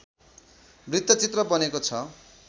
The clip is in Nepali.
वृत्तचित्र बनेको छ